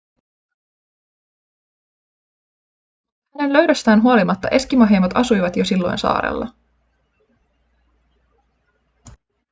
mutta hänen löydöstään huolimatta eskimoheimot asuivat jo silloin saarella